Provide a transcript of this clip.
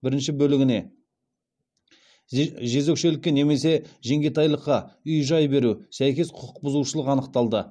бірінші бөлігіне сәйкес құқық бұзушылық анықталды